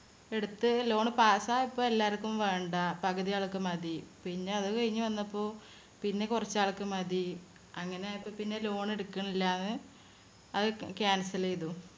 എടുത്ത് loan pass യപ്പോ എല്ലാർക്കും വേണ്ട. പകുതിയാൾക്ക് മതി. പിന്നെ അതുകഴിഞ്ഞ് വന്നപ്പോ പിന്നെ കുറച്ച് ആൾക്ക് മതി. അങ്ങനെയായപ്പോ പിന്നെ loan എടുക്കണില്ലാന്ന് അത്‌ ക~ cancel ചെയ്‌തു.